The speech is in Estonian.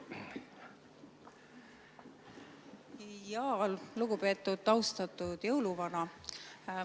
Lugupeetud, austatud jõuluvana!